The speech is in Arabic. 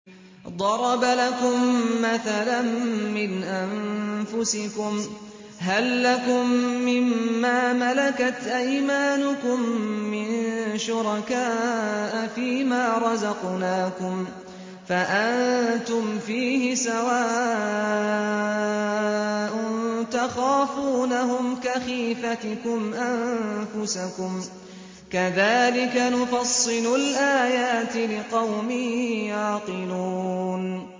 ضَرَبَ لَكُم مَّثَلًا مِّنْ أَنفُسِكُمْ ۖ هَل لَّكُم مِّن مَّا مَلَكَتْ أَيْمَانُكُم مِّن شُرَكَاءَ فِي مَا رَزَقْنَاكُمْ فَأَنتُمْ فِيهِ سَوَاءٌ تَخَافُونَهُمْ كَخِيفَتِكُمْ أَنفُسَكُمْ ۚ كَذَٰلِكَ نُفَصِّلُ الْآيَاتِ لِقَوْمٍ يَعْقِلُونَ